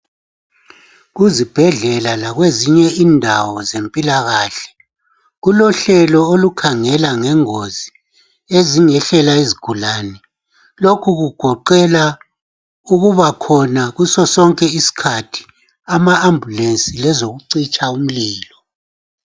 Kuzibhedlela lakwezinye indawo zempilakahle kulohlelo olukhangela ngengozi ezingehlela izigulane. Lokhu kugoqela ama ukubakhona kuso sonke iskhathi ama ambulensi lezokucitshaa umlilo.